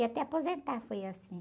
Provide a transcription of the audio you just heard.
E até aposentar foi assim.